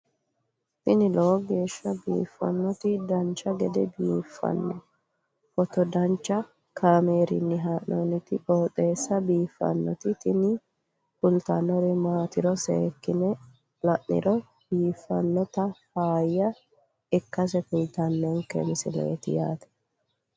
tini lowo geeshsha biiffannoti dancha gede biiffanno footo danchu kaameerinni haa'noonniti qooxeessa biiffannoti tini kultannori maatiro seekkine la'niro biiffannota faayya ikkase kultannoke misileeti yaate